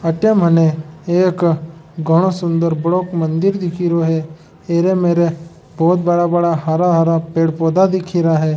अटे मने एक घणा सुंदर बडो मंदिर दिखरो है अर मर बहुत बड़ा-बड़ा हरा-हरा पेड़ पौधा दिख रहा है।